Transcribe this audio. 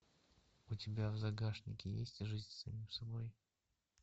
у тебя в загашнике есть жизнь с самим собой